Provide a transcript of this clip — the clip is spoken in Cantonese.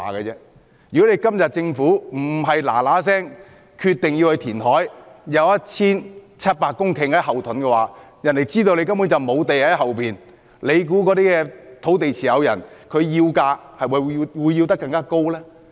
如果今天政府不是立即決定填海，以 1,700 公頃土地作為後盾，而是一直讓別人知道政府根本沒有土地儲備，大家猜猜那些土地持有人會否索價更高呢？